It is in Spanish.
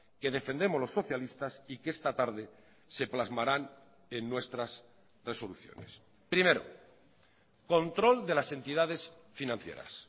que defendemos los socialistas y que esta tarde se plasmarán en nuestras resoluciones primero control de las entidades financieras